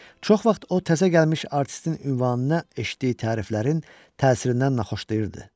Çox vaxt o təzə gəlmiş artistin ünvanına eşitdiyi təriflərin təsirindən naxoşlayırdı.